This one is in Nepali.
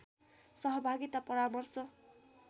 सहभागिता परामर्श